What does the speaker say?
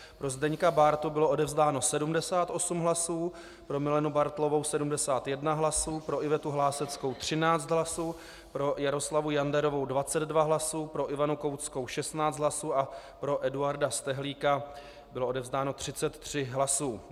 Pro Zdeňka Bártu bylo odevzdáno 78 hlasů, pro Milenu Bartlovou 71 hlasů, pro Ivetu Hláseckou 13 hlasů, pro Jaroslavu Janderovou 22 hlasů, pro Ivanu Koutskou 16 hlasů a pro Eduarda Stehlíka bylo odevzdáno 33 hlasů.